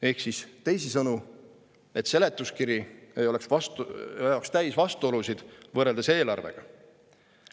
Ehk siis teisisõnu: et seletuskiri ei oleks täis vastuolusid võrreldes eelarvega.